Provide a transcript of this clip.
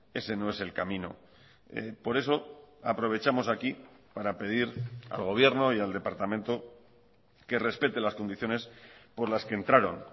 ese no es el camino por eso aprovechamos aquí para pedir al gobierno y al departamento que respete las condiciones por las que entraron